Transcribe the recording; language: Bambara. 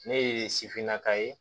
Ne ye sifinnaka ye